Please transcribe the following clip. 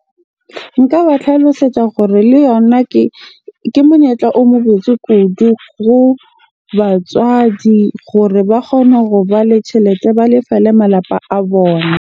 Nka ba tlhalosetsa gore le yona ke monyetla o mo botse kudu ho batswadi gore ba kgone hoba le tjhelete, ba lefele malapa a bona.